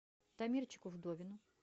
дамирчику вдовину